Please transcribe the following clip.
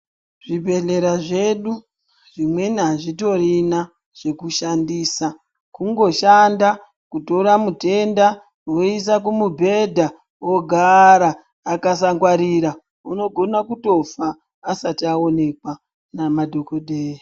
Zvibhedhlera zvedu zvimweni azvitorina chekushandisa. Kungoshanda kutora mutenda voisa kumubhedha ogara. Akasangwarira unogona kutofa asati aonekwa namadhokodhera.